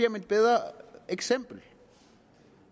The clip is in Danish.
om et bedre eksempel